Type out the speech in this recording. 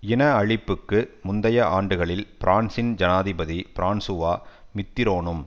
இன அழிப்புக்கு முந்தைய ஆண்டுகளில் பிரான்சின் ஜனாதிபதி பிரான்சுவா மித்திரோனும்